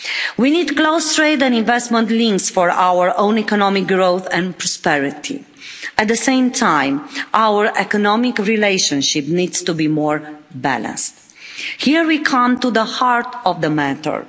We need close trade and investment links for our own economic growth and prosperity. At the same time, our economic relationship needs to be more balanced. Here we come to the heart of the matter.